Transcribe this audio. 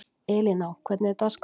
Elíná, hvernig er dagskráin?